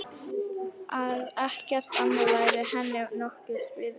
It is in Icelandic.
Að ekkert annað væri henni nokkurs virði.